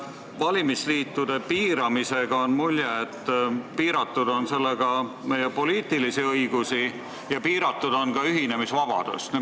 Valimisliitude piiramisega on jäänud mulje, et sellega on piiratud meie poliitilisi õigusi ja ka ühinemisvabadust.